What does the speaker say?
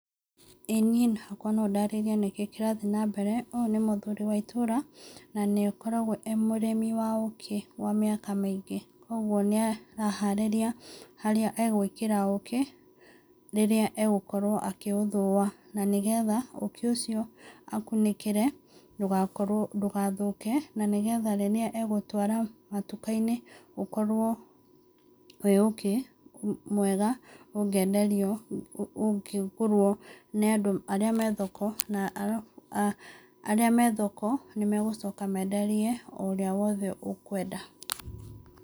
ĩĩ niĩ hakwa no ndarĩrie nĩkĩĩ kĩrathiĩ nambere. Ũyũ nĩ mũthuri wa itũũra, na nĩ akoragwo e mũrĩmi wa ũkĩ, wa mĩaka mĩingĩ. Koguo nĩ araharĩria, harĩa egũĩkĩra ũkĩ, rĩrĩa egũkorwo akĩũthũa. Na nĩgetha ũkĩ ũcio akunĩkĩre ndũgakorwo, ndũgathũke nĩgetha rĩrĩa egũtwara matuka-inĩ ũkorwo wĩ ũkĩ mwega ũngĩenderio, ũngĩgũrwo nĩ andũ arĩa me thoko, na arabu arĩa me thoko nĩ magũcoka menderie ũrĩa wothe ũkũenda.